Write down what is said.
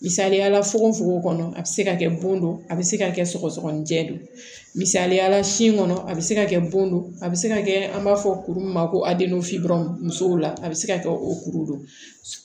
Misaliyala fogofogo kɔnɔ a bɛ se ka kɛ bon don a bɛ se ka kɛ sɔgɔsɔgɔnijɛ de don misaliyala sin kɔnɔ a bɛ se ka kɛ bon don a bɛ se ka kɛ an b'a fɔ kuru min ma ko musow la a bɛ se ka kɛ o kuru don